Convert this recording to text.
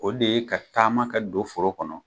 O de ye ka taama ka don foro kɔnɔ